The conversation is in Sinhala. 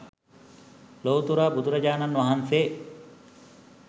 ලොව්තුරා බුදුරජාණන් වහන්සේ